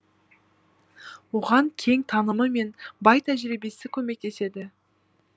оған кең танымы мен бай тәжірибесі көмектеседі